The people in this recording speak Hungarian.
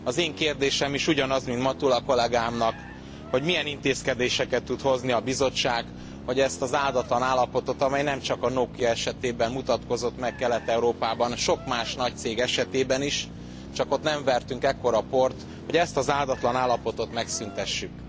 Az én kérdésem is ugyanaz, mint Matula kollégámnak milyen intézkedéseket tud hozni a Bizottság, hogy ezt az áldatlan állapotot, amely nemcsak a Nokia esetében mutatkozott meg Kelet Európában sok más nagy cég esetében is, csak ott nem vertünk ekkora port hogy ezt az áldatlan állapotot megszüntessük.